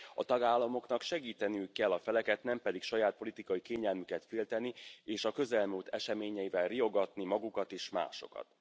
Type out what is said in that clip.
A tagállamoknak segíteniük kell a feleket, nem pedig saját politikai kényelmüket félteni, és a közelmúlt eseményeivel riogatni magukat és másokat.